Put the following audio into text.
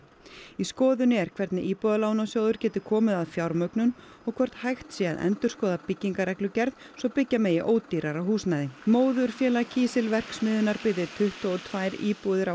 í skoðun er hvernig Íbúðalánasjóður geti komið að fjármögnun og hvort hægt sé að endurskoða byggingareglugerð svo byggja megi ódýrara húsnæði móðurfélag kísilverksmiðjunnar byggði tuttugu og tvær íbúðir á